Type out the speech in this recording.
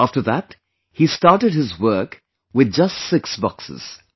After that he started his work with just six boxes